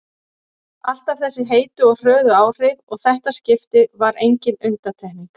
Alltaf þessi heitu og hröðu áhrif og þetta skipti var engin undantekning.